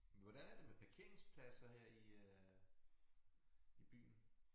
Hvordan er det med parkeringsplader her i øh i byen